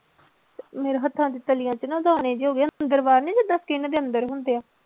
ਮੇਰੇ ਹੱਥਾਂ ਚ ਤਲੀਆਂ ਚ ਨਾ ਦਾਣੇ ਜਿਹੇ ਹੋ ਗਏ ਆ, ਅੰਦਰ ਬਾਹਰ ਨੀ ਜਿੱਦਾਂ skin ਦੇ ਅੰਦਰ ਹੁੰਦੇ ਆ।